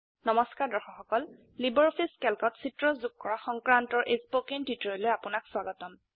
নমস্কাৰ দৰ্শক সকল লাইব্ৰঅফিছ ক্যালকত চিত্ৰ যোগ কৰা সংক্ৰান্তৰ এই স্পকেন টিউটোৰিয়েললৈ আপোনাক স্বাগতম